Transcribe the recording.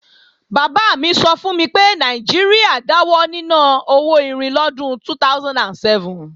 Bàbá mi sọ fún mi pé Nàìjíríà dáwọ níná owó irin lọ́dún 2007